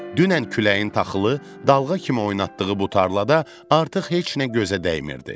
Dünən küləyin taxılı dalğa kimi oynatdığı bu tarlada artıq heç nə gözə dəymirdi.